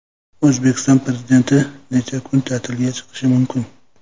O‘zbekiston Prezidenti necha kunga ta’tilga chiqishi mumkin?.